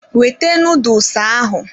Wete noodles ahụ!